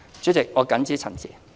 主席，我謹此陳辭。